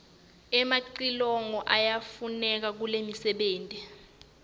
emacilongo yayafuneka kulomfebenti